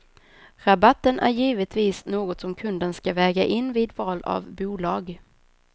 Rabatten är givetvis något som kunden skall väga in vid val av bolag.